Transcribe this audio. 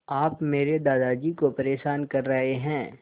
आप मेरे दादाजी को परेशान कर रहे हैं